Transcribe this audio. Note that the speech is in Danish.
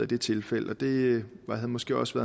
det tilfælde og det havde måske også